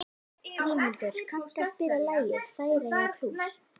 Grímhildur, kanntu að spila lagið „Færeyjablús“?